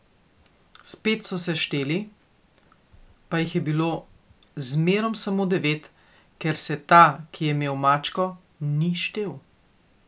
Spet so se šteli, pa jih je bilo zmerom samo devet, ker se ta, ki je imel mačko, ni štel.